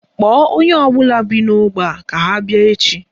Kpọọ onye ọbụla bi n'ógbè a ka ha bịa echi